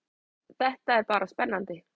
Þetta er bara spennandi